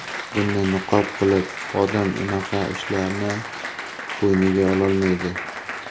Dinni niqob qilib, odam unaqa ishlarni bo‘yniga ololmaydi.